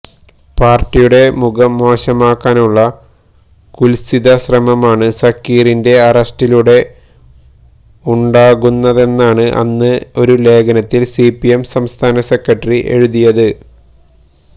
പാര്ട്ടിയുടെ മുഖം മോശമാക്കാനുള്ള കുത്സിത ശ്രമമാണ് സക്കീറിന്റെ അറസ്റ്റിലൂടെ ഉണ്ടാകുന്നതെന്നാണ് അന്ന് ഒരു ലേഖനത്തില് സിപിഎം സംസ്ഥാന സെക്രട്ടറി എഴുതിയത്